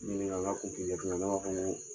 Ɲininka n ka n ka ko f'i ye sinon ne b'a fɔ ko